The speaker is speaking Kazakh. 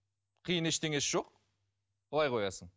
қиын ештеңесі жоқ былай қоясың